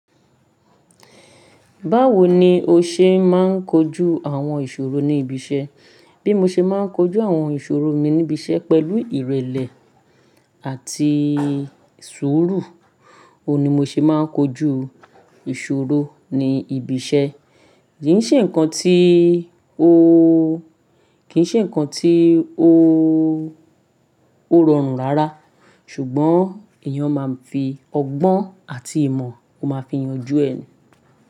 Báwo ni o ṣe máa ń kojú àwọn ìṣòro ní ibi iṣẹ́? Bí mo ṣe máa ń kojú àwọn ìṣòro mi níbi iṣẹ́ pẹ̀lú ìrẹ̀lẹ̀ àti sùúrù. Ó ni mo ṣe máa ń kojú ìṣòro ní ibi iṣẹ́. Kì í ṣe nǹkan tí ó, kì í ṣe nǹkan tí ó, ó rọrùn rárá. Ṣùgbọ́n èèyàn máa ń fi ọgbọ́n àti ìmọ̀, ó máa fi yanjú ẹni.